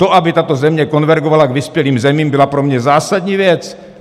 To, aby tato země konvergovala k vyspělým zemím, byla pro mě zásadní věc.